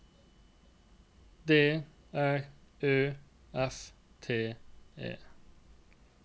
D R Ø F T E